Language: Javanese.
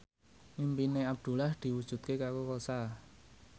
impine Abdullah diwujudke karo Rossa